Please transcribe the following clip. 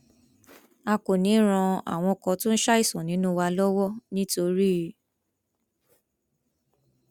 a kò ní í ran àwọn kan tó ń ṣàìsàn nínú wa lọwọ nítorí